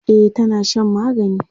e tana Shan magani